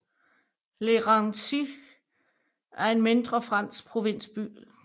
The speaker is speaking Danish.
Le Raincy er en mindre fransk provinsby